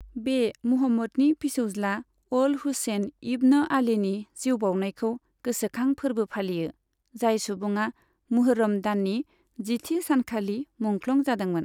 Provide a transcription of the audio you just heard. बे मुहम्मदनि फिसौज्ला अल हुसैन इब्न आलीनि जिउ बाउनायखौ गोसोखां फोरबो फालियो, जाय सुबुङा मुहर्रम दाननि जिथि सानखालि मुंख्लं जादोंमोन।